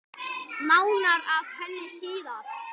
Nánar að henni síðar.